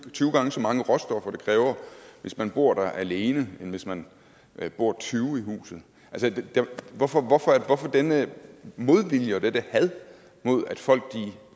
gange så mange råstoffer det kræver hvis man bor der alene end hvis man bor tyve i huset hvorfor denne modvilje og dette had mod at folk